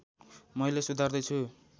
मैले सुधार्दै छु